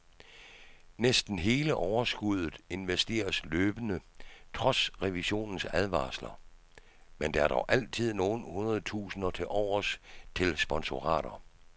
Næsten hele overskuddet investeres løbende trods revisionens advarsler, men der er dog altid nogle hundredtusinder tilovers til sponsorater.